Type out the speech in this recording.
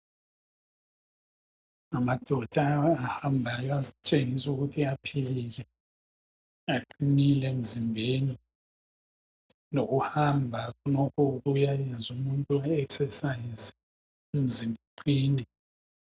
Amadoda ahambayo atshengisa ukuthi aphilile, aqinile emzimbeni lokuhamba khonokho kuyayenza umuntu a exercise umzimba uqine.